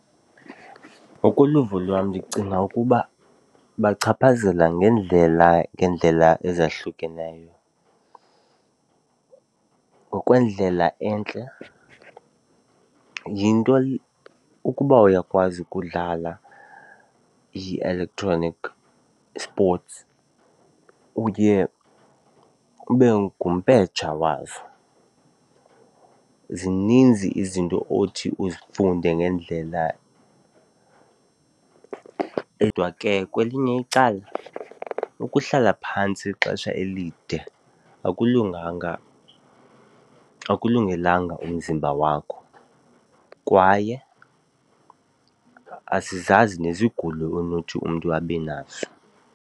Ngokoluvo lwam ndicinga ukuba ibachaphazela ngeendlela ngeendlela ezahlukeneyo. Ngokwendlela entle, yinto ukuba uyakwazi ukudlala i-electronic sports uye ube ngumpetsha wazo. Zininzi izinto othi uzifunde ngendlela kodwa ke kwelinye icala, ukuhlala phantsi ixesha elide akulunganga, akulungelanga umzimba wakho kwaye asizazi nezigulo onothi umntu abenazo.